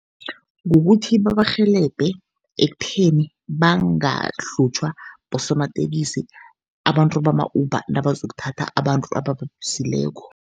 Kukuthi babarhelebhe ekutheni bangahlutjhwa bosomatekisi, abantu bama-Uber nabazokuthatha abantu abababizileko.